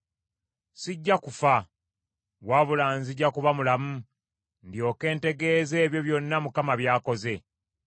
Sijja kufa, wabula nzija kuba mulamu, ndyoke ntegeeze ebyo byonna Mukama by’akoze.